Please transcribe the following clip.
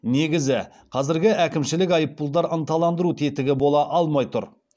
негізі қазіргі әкімшілік айыппұлдар ынталандыру тетігі бола алмай тұр